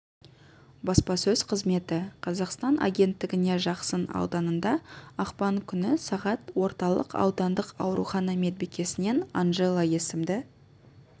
баспасөз қызметі қазақстан агенттігіне жақсын ауданында ақпан күні сағат орталық аудандық аурухана медбикесінен анжела есімді